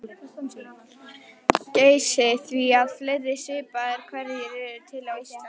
Geysi því að fleiri svipaðir hverir eru til á Íslandi.